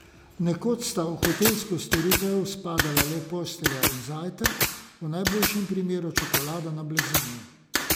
Nekoč sta v hotelsko storitev spadala le postelja in zajtrk, v najboljšem primeru čokolada na blazini.